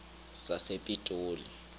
sasepitoli